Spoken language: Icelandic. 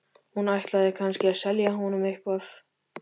Hún ætlaði kannski að selja honum eitthvað.